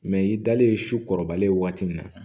Mɛ i dalen su kɔrɔbalen waati min na